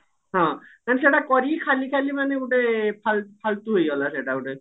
ହଁ ମାନେ ସେଇଟା କରିକି ଖାଲି ଖାଲି ମାନେ ଗୋଟେ ଫାଲ ଫାଲତୁ ହେଇଗଲା ସେଇଟା ଗୋଟେ